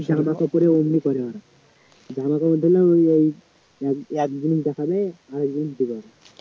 জামাকাপড়ে ওগুলি করে ওরা জামাকাপড় দেখলাম ঐ এক জিনিস দেখালে আরেক জিনিস দিবে ওরা